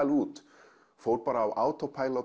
út og fór á